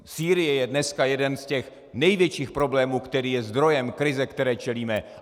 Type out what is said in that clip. Sýrie je dneska jeden z těch největších problémů, který je zdrojem krize, které čelíme.